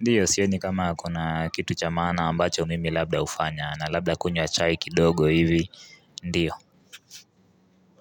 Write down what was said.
ndiyo sioni kama kuna kitu cha maana ambacho mimi labda hufanya na labda kunywa chai kidogo hivi ndiyo.